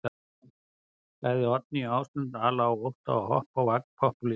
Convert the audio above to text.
Sagði Oddný Ásmund ala á ótta og hoppa á vagn popúlista.